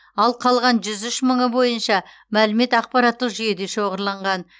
ал қалған жүз үш мыңы бойынша мәлімет ақпараттық жүйеде шоғырланған